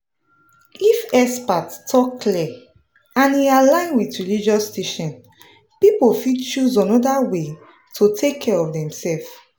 if expert talk clear and e align with religious teaching people fit choose another way to take care of demself.